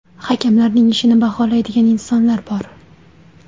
Hakamlarni ishini baholaydigan insonlar bor.